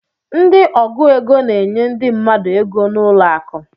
Ndị ọgụ égo n'enye ndị mmadụ égo n'ụlọ akụ.